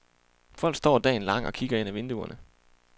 Folk står dagen lang og kigger ind af vinduerne.